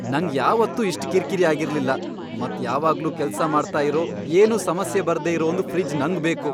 ನಂಗ್ ಯಾವತ್ತೂ ಇಷ್ಟ್ ಕಿರ್ಕಿರಿ ಆಗಿರ್ಲಿಲ್ಲ. ಮತ್ ಯಾವಾಗ್ಲೂ ಕೆಲ್ಸ ಮಾಡ್ತಾ ಇರೋ ಏನೂ ಸಮಸ್ಯೆ ಬರ್ದೇ ಇರೋ ಒಂದ್ ಫ್ರಿಜ್ ನಂಗ್ ಬೇಕು.